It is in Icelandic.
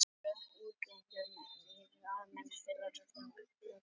Réttur til inngöngu í almennt félag og heimild til brottvísunar úr því.